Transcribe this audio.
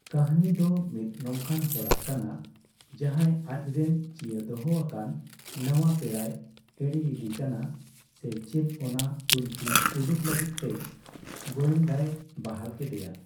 ᱠᱟᱹᱦᱱᱤ ᱫᱚ ᱢᱤᱫ ᱱᱚᱝᱠᱟᱱ ᱦᱚᱲᱟᱜ ᱠᱟᱱᱟ, ᱡᱟᱦᱟᱸᱭ ᱟᱪᱨᱮᱱ ᱪᱤᱭᱟᱹ ᱫᱚᱦᱚ ᱟᱠᱟᱱ ᱱᱟᱣᱟ ᱯᱮᱲᱟᱭ ᱮᱲᱮᱤᱫᱤ ᱠᱟᱱᱟ ᱥᱮ ᱪᱮᱫ ᱚᱱᱟ ᱛᱩᱱᱠᱷᱤ ᱩᱰᱩᱠ ᱞᱟᱹᱜᱤᱫ ᱛᱮ ᱜᱳᱭᱮᱱᱫᱟᱭ ᱵᱟᱦᱟᱞ ᱠᱮᱫᱮᱭᱟ ᱾